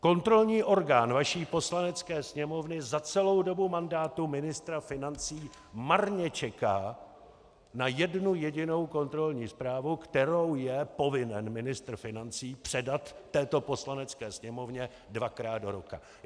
Kontrolní orgán vaší Poslanecké sněmovny za celou dobu mandátu ministra financí marně čeká na jednu jedinou kontrolní zprávu, kterou je povinen ministr financí předat této Poslanecké sněmovně dvakrát do roka.